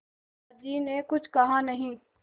दादाजी ने कुछ कहा नहीं